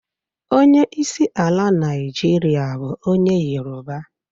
Onye isi ala Naijiria bu onye yoruba.